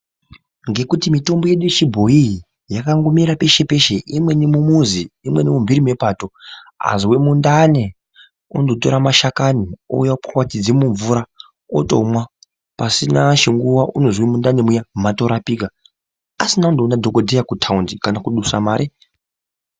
Ngekuti mitombo yedu yechibhoyi iyi yakangomera peshe peshe imweni mumizi, imweni mumphiri mepato Azwe mundani unondotore mashakani ouya opwapwatidza mumvura otomwa pasina chinguwa unozwa mundani muya matorapika asina kundoone dhokotera kutaundi kana kudusa mare.